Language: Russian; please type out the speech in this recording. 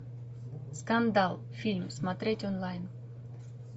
скандал фильм смотреть онлайн